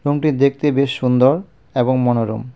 রুমটি দেখতে বেশ সুন্দর এবং মনোরম.